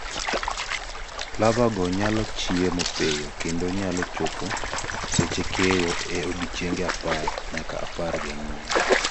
larvae go nyalo chiemo piyo kendo nyalo chopo seche keyo e odiechienge apar nyaka apar gi ang'wen